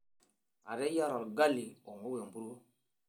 Ateyiara olgali ongou empuruo.